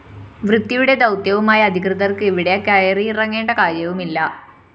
വൃത്തിയുടെ ദൗത്യവുമായി അധികൃതര്‍ക്ക് ഇവിടെ കയറിയിറങ്ങേണ്ട കാര്യവുമില്ല